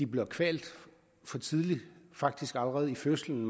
bliver kvalt for tidligt faktisk allerede i fødslen